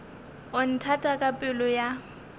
o nthata ka pelo ya